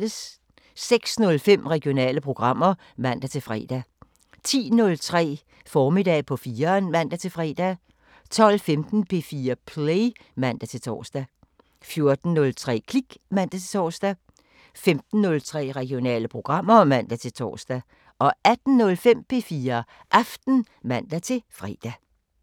06:05: Regionale programmer (man-fre) 10:03: Formiddag på 4'eren (man-fre) 12:15: P4 Play (man-tor) 14:03: Klik (man-tor) 15:03: Regionale programmer (man-tor) 18:05: P4 Aften (man-fre)